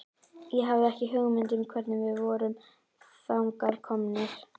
Ég hafði ekki hugmynd um hvernig við vorum þangað komnir.